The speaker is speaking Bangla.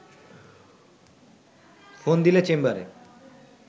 ফোন দিলে চেম্বারে